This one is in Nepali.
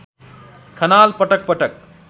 खनाल पटक पटक